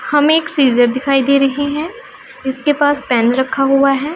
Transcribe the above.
हमें एक सीजर दिखाई दे रहे हैं इसके पास पेन रखा हुआ है।